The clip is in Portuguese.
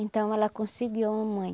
Então ela conseguiu a mamãe